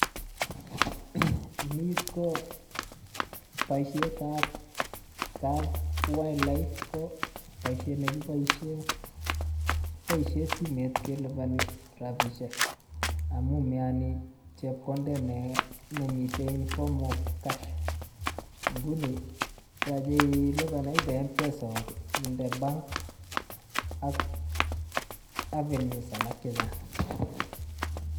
Ni koboisietab kap wildlife ko boisiet negibosien kibosien simet keliponi rabisiek amun meyoni chepkondet ne nemiten inform of cash nguni yoche ilipan either Mpesa ak inde bank ak avenues alak chechang'.